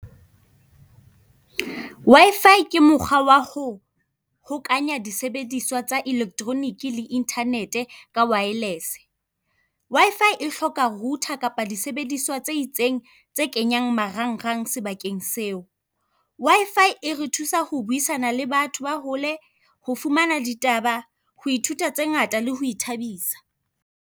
W_I_F_I ke mokgwa wa ho hokanya disebediswa tsa electronic le internet-e ka wireless-e. W_I_F_I e hloka router kapa disebediswa tse itseng, tse kenyang marangrang sebakeng seo. W_I_F_I e re thusa ho buisana le batho ba hole, ho fumana ditaba, ho ithuta tse ngata le ho ithabisa.